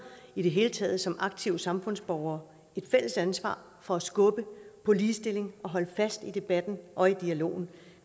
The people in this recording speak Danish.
i det hele taget som aktive samfundsborgere et fælles ansvar for at skubbe på ligestilling og holde fast i debatten og i dialogen og